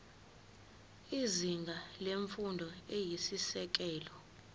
izinga lemfundo eyisisekelo